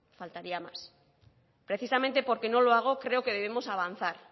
faltaría más precisamente porque no lo hago creo que debemos avanzar